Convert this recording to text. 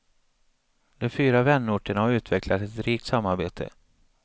De fyra vänorterna har utvecklat ett rikt samarbete.